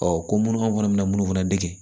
ko minnu fana bɛna minnu fana dege